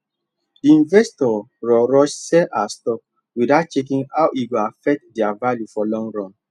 the investor rushrush sell her stocks without checking how e go affect their value for long run